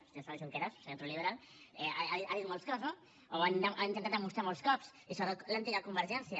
i això junqueras senyor true liberalno o ho ha intentat demostrar molts cops i sobretot l’antiga convergència